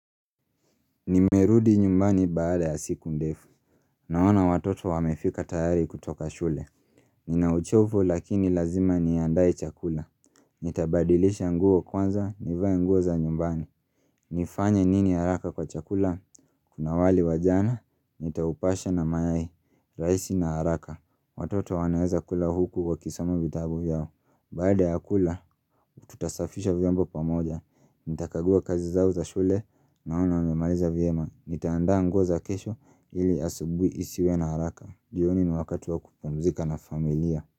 Nimerudi nyumbani baada ya siku ndefu. Naona watoto wamefika tayari kutoka shule. Ninauchovu lakini lazima niandae chakula. Nitabadilisha nguo kwanza, nivae nguo za nyumbani. Nifanya nini haraka kwa chakula? Kuna wali wa jana, nitaupasha na mayai, rahisi na haraka. Watoto wanaweza kula huku wakisoma vitabu vyao. Baada ya kula, tutasafisha vyombo pamoja, nitakagua kazi zao za shule, naona wamemaliza vyema, nitaandaa nguo za kesho ili asubuhi isiwe na haraka, jioni ni wakati wa kupumzika na familia.